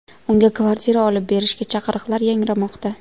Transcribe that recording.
Unga kvartira olib berishga chaqiriqlar yangramoqda.